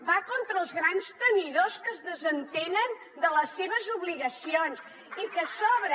va contra els grans tenidors que es desentenen de les seves obligacions i que a sobre